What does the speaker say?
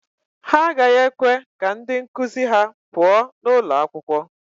Ha agaghị ekwe ka ndị nkụzi ha pụọ n'ụlọ akwụkwọ.